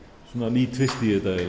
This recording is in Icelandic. ný tvist